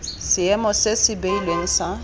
seemo se se beilweng sa